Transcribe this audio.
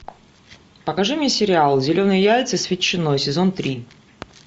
покажи мне сериал зеленые яйца с ветчиной сезон три